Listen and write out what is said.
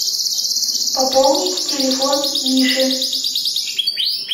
пополнить телефон миши